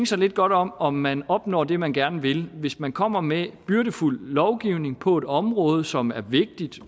sig lidt godt om om man opnår det man gerne vil hvis man kommer med byrdefuld lovgivning på et område som er vigtigt